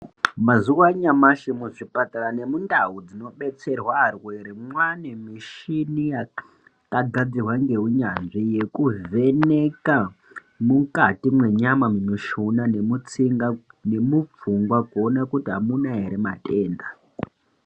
Mazuva anyamashi mu zvipatara ne mundau dzino betserwa arwere mwane mishini yaka gadzirwa nge unyanzvi yeku vheneka mukati mwe nyama mu mushuna ne mutsinga ne mu pfungwa kuona kuti amuna ere matenda.